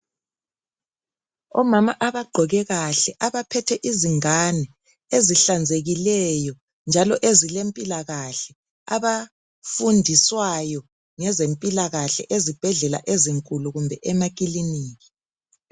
Omama abagqoke kahle abaphethe izingane ezihlanzekileyo njalo ezilempilakahle abafundiswayo ngezempilakahle ezibhedlela ezinkulu kumbe emakiliniki.